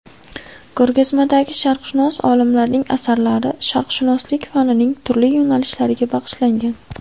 Ko‘rgazmadagi sharqshunos olimlarning asarlari sharqshunoslik fanining turli yo‘nalishlariga bag‘ishlangan.